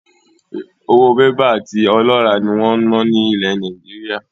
Owó Bébà àti ọlọ́rà ni wọn ń na ni ilẹ̀ Nàìjíríà.